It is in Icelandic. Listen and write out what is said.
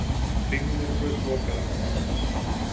Kringlumýrarbraut lokað vegna framkvæmda